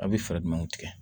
A' bɛ fɛɛrɛ jumɛn tigɛ